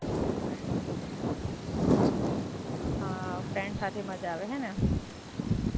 હાં, ફ્રેન્ડ્સ સાથે મજા આવે હે ને?